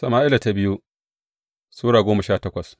biyu Sama’ila Sura goma sha takwas